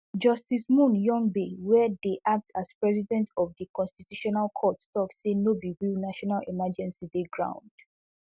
justice moon hyungbae wey dey act as president of di constitutional court tok say no be real national emergency dey ground